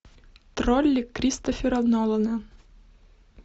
тролли кристофера нолана